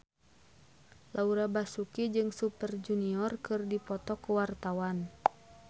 Laura Basuki jeung Super Junior keur dipoto ku wartawan